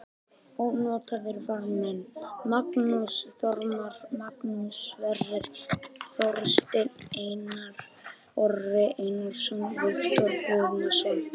Ónotaðir varamenn: Magnús Þormar, Magnús Sverrir Þorsteinsson, Einar Orri Einarsson, Viktor Guðnason.